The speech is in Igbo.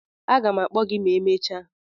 a ga m akpo gi ma emechaa.